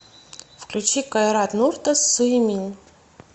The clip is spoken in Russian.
включи кайрат нуртас суйемин